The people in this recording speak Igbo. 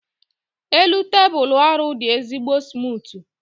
elu tebụl ọrụ dị ezigbo smutu